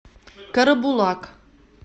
карабулак